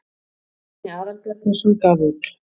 bjarni aðalbjarnarson gaf út